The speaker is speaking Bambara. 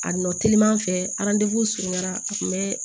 A nɔ telima fɛ surunyara a kun be